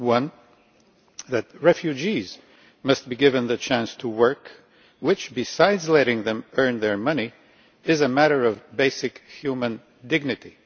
Firstly, that refugees must be given the chance to work, which besides letting them earn money is a matter of basic human dignity.